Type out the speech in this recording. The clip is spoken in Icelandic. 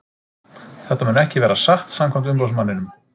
Þetta mun ekki vera satt samkvæmt umboðsmanninum.